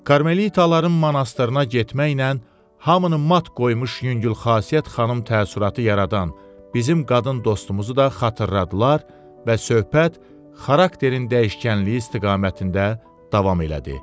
Karmelitaların monastırına getməklə hamının mat qoymuş yüngül xasiyyət xanım təəssüratı yaradan bizim qadın dostumuzu da xatırladılar və söhbət xarakterin dəyişkənliyi istiqamətində davam elədi.